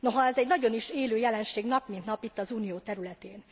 Noha ez egy nagyon is élő jelenség nap, mint nap itt az unió területén.